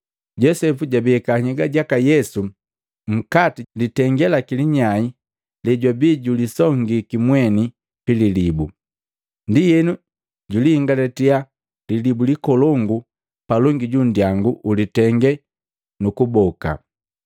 Josepu jabeka nhyega jaka Yesu nkati jilitenge laki linyai lejwabi julisongiki mweni pililibu. Ndienu juliingalatiya lilibu likolongu palongi junndyangu ulitengee nu kuboka.